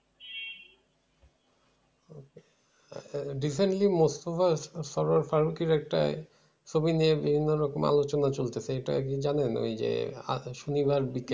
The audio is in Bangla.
আহ recently মোস্তফা সারোয়ার ফারুকের একটা ছবি নিয়ে বিভিন্ন রকম আলোচনা চলতেছে এটা আরকি জানেন ওই যে আগের শনিবার